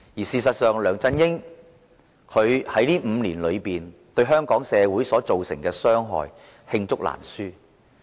事實上，梁振英在過去5年對香港社會造成的傷害，罄竹難書。